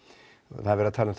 það er verið að tala um